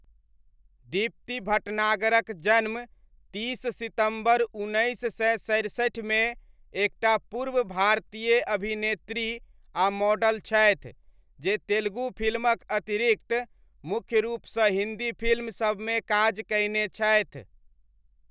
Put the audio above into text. दीप्ति भटनागरक जन्म तीस सितम्बर, उन्नैस सय सरसठिमे एकटा पूर्व भारतीय अभिनेत्री आ मॉडल छथि, जे तेलुगु फिल्मक अतिरिक्त मुख्य रूपसँ हिन्दी फिल्म सबमे काज कयने छथि।